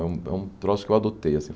É um é um troço que eu adotei assim.